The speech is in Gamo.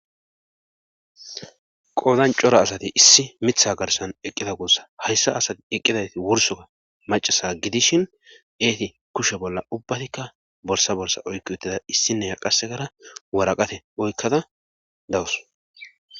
qoodan cora asati issi mitha garsan eqqida guussa hayssa asati eqqidati wursoka macasa gidishin eeti kushe bolla ubbatikka borsa bolsa oykkiutida issinneqasekara waraqate oykkada dawus